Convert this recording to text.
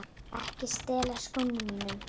Ekki stela skónum mínum!